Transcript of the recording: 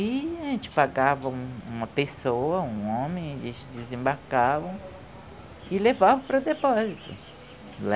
E a gente pagava um uma pessoa, um homem, eles desembarcavam e levavam para o depósito.